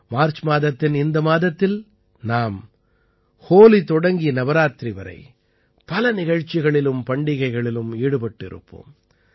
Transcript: March மாதத்தின் இந்த மாதத்தில் நாம் ஹோலி தொடங்கி நவராத்திரி வரை பல நிகழ்ச்சிகளிலும் பண்டிகைகளிலும் ஈடுபட்டு இருப்போம்